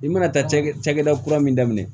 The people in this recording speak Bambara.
I mana taa cakɛ cakɛda kura min daminɛ